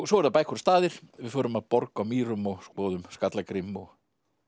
svo eru það bækur og staðir við förum að borg á Mýrum og skoðum Skallagrím og